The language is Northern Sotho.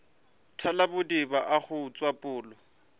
thalabodiba a go utswa pholo